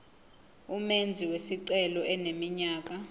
umenzi wesicelo eneminyaka